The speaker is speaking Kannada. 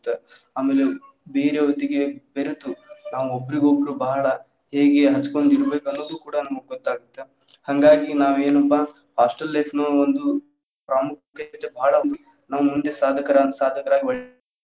ಆಮೇಲೆ ಬೇರೆಯವರೋಂದಿಗೆ ಬೆರತು ನಾವು ಒಬ್ರಿಗೊಬ್ರು ಬಹಳ ಹೇಗೆ ಹಂಚ್ಕೊಂಡ್ ತಿನ್ಬೇಕ್ ಅನ್ನೋದ್ ಕೂಡ ನಮಗ್ ಗೊತ್ತ್ ಆಗುತ್ತೆ ಹಂಗಾಗಿ ನಾವ್ ಏನಪ್ಪಾ hostel life ನು ಒಂದು ಪ್ರಾಮುಕ್ಯತೆ ಬಾಳ ನಾವ್ ಮುಂದೆ ಸಾದಕ ಸಾದಕರಾಗಿ ಒಳ್ಳೆ ಸಮಾಜವನ್ನು.